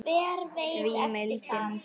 því mildin þín